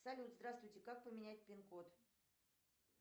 салют здравствуйте как поменять пинкод